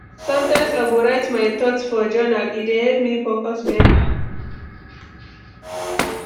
Sometimes I go write my thoughts for journal; e dey help me focus beta.